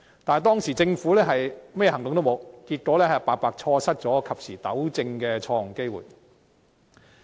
但是，當時政府未有採取任何行動，結果白白錯失及時補救的機會。